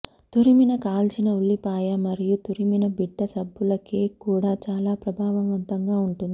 తురిమిన కాల్చిన ఉల్లిపాయ మరియు తురిమిన బిడ్డ సబ్బుల కేక్ కూడా చాలా ప్రభావవంతంగా ఉంటుంది